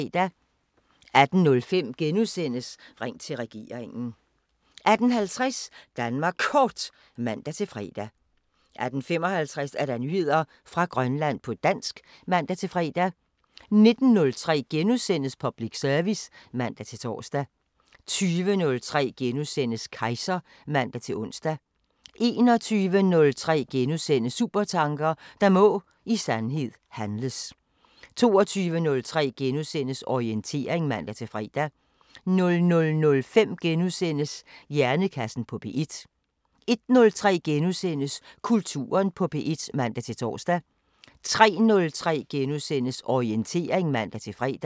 18:05: Ring til regeringen * 18:50: Danmark Kort (man-fre) 18:55: Nyheder fra Grønland på dansk (man-fre) 19:03: Public service *(man-tor) 20:03: Kejser *(man-ons) 21:03: Supertanker: Der må i sandhed handles * 22:03: Orientering *(man-fre) 00:05: Hjernekassen på P1 * 01:03: Kulturen på P1 *(man-tor) 03:03: Orientering *(man-fre)